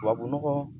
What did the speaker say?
Tubabu nɔgɔ